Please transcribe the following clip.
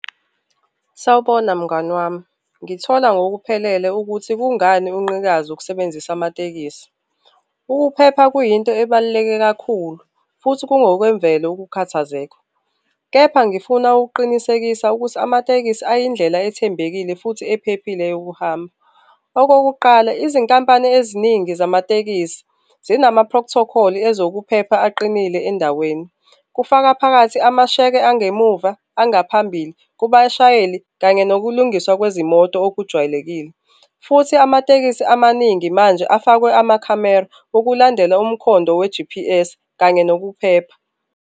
Sawubona, mngani wami. Ngithola ngokuphelele ukuthi kungani unqikaza ukusebenzisa amatekisi. Ukuphepha kuyinto ebaluleke kakhulu futhi kungokwemvelo ukukhathazeka, kepha ngifuna ukuqinisekisa ukuthi amatekisi ayindlela ethembekile futhi ephephile yokuhamba. Okokuqala, izinkampani eziningi zamatekisi zinama-protocol ezokuphepha aqinile endaweni, kufaka phakathi amasheke engemuva, angaphambili kubashayeli kanye nokulungiswa kwezimoto okujwayelekile, futhi amatekisi amaningi manje afakwe amakhamera ukulandela umkhondo we-G_P_S kanye nokuphepha.